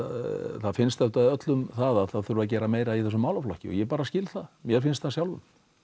það finnst auðvitað öllum það það þurfi að gera meira í þessum málaflokki og ég bara skil það mér finnst það sjálfum